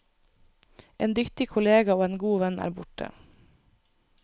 En dyktig kollega og en god venn er borte.